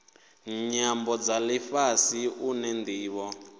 nyambo dza lifhasi une ndivho